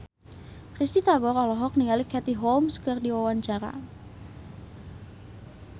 Risty Tagor olohok ningali Katie Holmes keur diwawancara